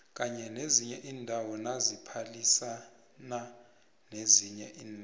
kanye nezinye indawo naziphalisano nezinye inarha